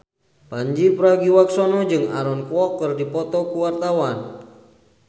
Pandji Pragiwaksono jeung Aaron Kwok keur dipoto ku wartawan